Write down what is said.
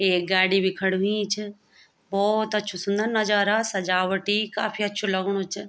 एक गाड़ी भी खड़ीं हुईं च भोत अच्छू सुन्दर नजारा सजावटी काफी अछू लगणु च।